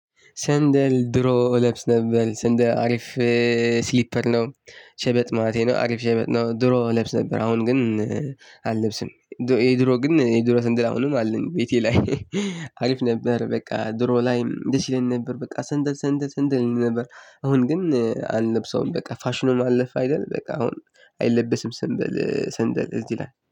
ሰንደል ድሮ እለብስ ነበር ሰንደል አሪፍ ስሊፐር ነው። ሸበጥ ማለቴ ነው አሪፍ ሸበጥ ነው። ድሮ እለብስ ነበር አሁን ግን አለብስም። የድሮ ግን የድሮ ሰንደል አሁንም አለኝ ቤቴ ላይ አሪፍ ነበር። በቃ ድሮ ላይም ደስ ይለን ነበር በቃ ሰንደል ሰንደል ሰንደል ነበር። አሁን ግን አንለብሰውም በቃ ፋሽን ሆኖ አለፈ አይደል? በቃ አሁን አይለበስም ሰንደል ሰንደል እዚህ ላይ